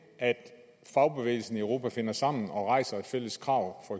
at fagbevægelsen i europa finder sammen og rejser et fælles krav